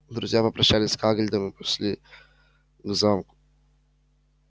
друзья попрощались с хагридом и пошли к замку